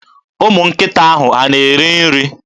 Ụmụnkịta ahụ a na-eri nri?